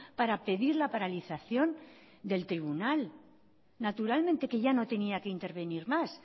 para pedir la paralización del tribunal naturalmente que ya no tenía que intervenir más